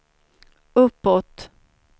uppåt